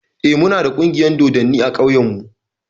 Eh, mu na da ƙungiyar dodanni a ƙauyen mu